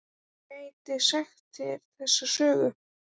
Hún gæti sagt þér þessa sögu.